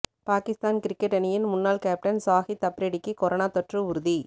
Pakistan cricket அணியின் முன்னாள் captain Shahid அப்ரிடிக்கு கொரோனா தொற்று உறுதி